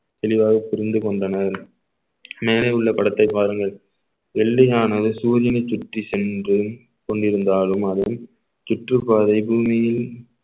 தெளிவாக புரிந்து கொண்டனர் மேலே உள்ள படத்தை பாருங்கள் வெள்ளையானது சூரியனை சுற்றி சென்று கொண்டிருந்தாலும் அதன் சுற்றுப்பாதை பூமியில்